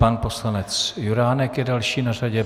Pan poslanec Juránek je další na řadě.